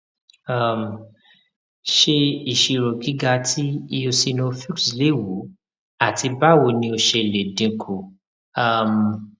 um ṣe iṣiro giga ti eosinophils lewu ati bawo ni o ṣe le dinku um